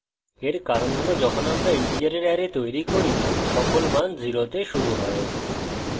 এর কারণ হল যখন আমরা integers অ্যারে তৈরি করি সকল মান 0 তে শুরু হয়